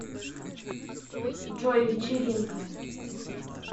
джой вечеринка